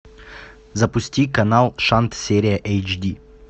запусти канал шант серия эйчди